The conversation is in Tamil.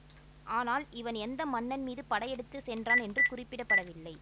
ஆனால் இவன் எந்த மன்னன் மீது படை எடுத்து சென்றான் என்று குறிப்பிட பட வில்லை